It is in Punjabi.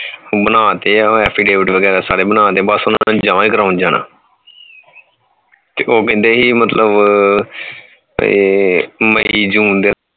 ਬਣਾ ਤੇ ਹੈ affidavit ਵਗੈਰਾ ਸਾਰੇ ਬਣਾਤੇ ਬਸ ਉਹਨਾਂ ਨੂੰ ਜਮਾ ਹੀ ਕਰਵਾਣ ਜਾਣਾ ਤੇ ਉਹ ਕਹਿੰਦੇ ਸੀ ਮਤਲਬ ਇਹ ਮਈ ਮਈ ਦੇ